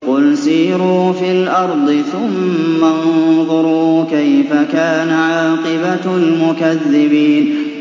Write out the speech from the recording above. قُلْ سِيرُوا فِي الْأَرْضِ ثُمَّ انظُرُوا كَيْفَ كَانَ عَاقِبَةُ الْمُكَذِّبِينَ